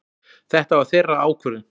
Þetta var þeirra ákvörðun.